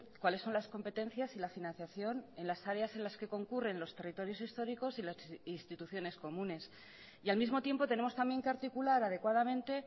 cuáles son las competencias y la financiación en las áreas en las que concurren los territorios históricos y las instituciones comunes y al mismo tiempo tenemos también que articular adecuadamente